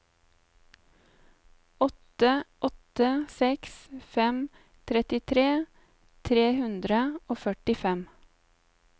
åtte åtte seks fem trettitre tre hundre og førtifem